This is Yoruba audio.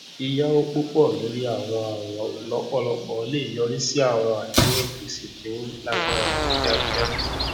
yíyàwò púpọ lórí àwọn àwìn lọpọlọpọ lè yọrí sí àwọn àdéhùn gbèsè tó lágbára ní kìákìá